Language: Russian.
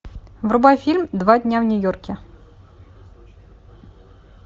врубай фильм два дня в нью йорке